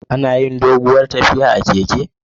Anayin doguwar tafiya a keke